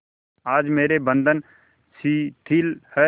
आज मेरे बंधन शिथिल हैं